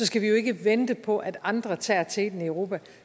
skal jo ikke vente på at andre tager teten i europa